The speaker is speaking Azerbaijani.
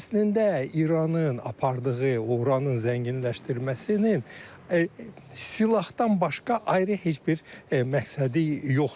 Əslində İranın apardığı uranın zənginləşdirilməsinin silahdan başqa ayrı heç bir məqsədi yoxdur.